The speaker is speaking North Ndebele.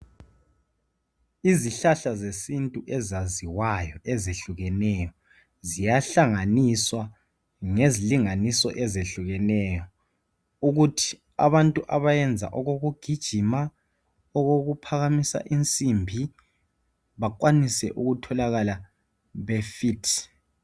Izihlahla zesintu ezaziwaywayo ezehlukeneyo ziyahlanganiswa ngezilinganiso ezehlukeneyo ukuthi abantu abayenza okokugijima, okokuphakamisa insimbi bakwanise ukutholakala be fit.